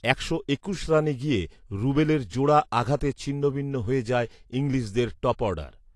একশো একুশ রানে গিয়ে রুবেলের জোড়া আঘাতে ছিন্নভিন্ন হয়ে যায় ইংলিশদের টপঅর্ডার